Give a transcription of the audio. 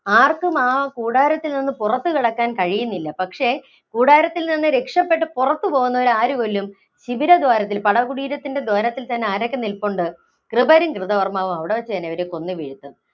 ആര്‍ക്കും ആ കൂടാരത്തില്‍ നിന്ന് പുറത്തുകടക്കാന്‍ കഴിയുന്നില്ല. പക്ഷേ, കൂടാരത്തില്‍ നിന്ന് രക്ഷപ്പെട്ട് പുറത്ത് പോകുന്നവരെ ആര് കൊല്ലും? ശിബിര ദ്വാരത്തില്‍, പടകുടീരത്തിന്‍റെ ദ്വാരത്തില്‍ തന്നെ ആരൊക്കെ നില്‍പ്പുണ്ട്? കൃപരും, കൃതകർമ്മാവും അവിടെ വച്ച് തന്നെ അവരെ കൊന്ന് വീഴ്ത്തും.